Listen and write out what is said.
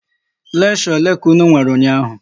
Leksho ole ka unu nwere ụnyaahụ?